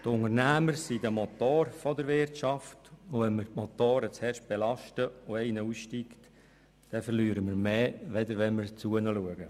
Die Unternehmungen sind der Motor der Wirtschaft, und wenn wir Motoren zu fest belasten und einer aussteigt, verlieren wir mehr, als wenn wir für sie sorgen.